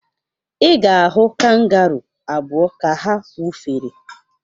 Ị ga-ahụ kangaruu abụa ka ha wụfere.